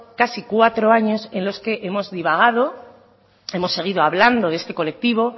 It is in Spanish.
casi cuatro años en los que hemos divagado hemos seguido hablando de este colectivo